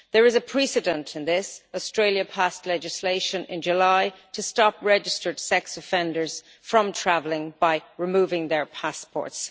There is a precedent in this Australia passed legislation in July to stop registered sex offenders from traveling by removing their passports.